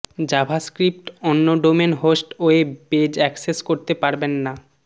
JavaScript অন্য domain host web page access করতে পারবেন না